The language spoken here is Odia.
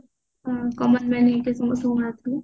ହୁଁ common man ହେଇକି ଆସିବ